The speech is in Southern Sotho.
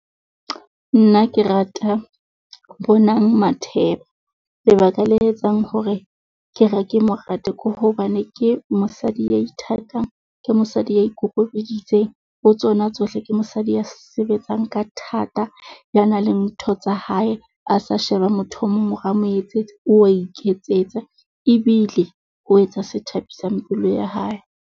Nna ke rata Bonang Matheba lebaka le etsang hore ke re ka mo rata, ke hobane ke mosadi ya ithatang ke mosadi ya ikokobeditseng ho tsona tsohle ke mosadi ya sebetsang ka thata. Ya nang le ntho tsa hae, a sa sheba motho o mong hore a mo etsetse, o wa iketsetsa ebile o etsa se thabisang pelo ya hae.